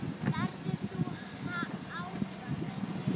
Verður þú áfram með Hauka?